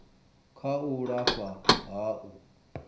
kha u lafha ha u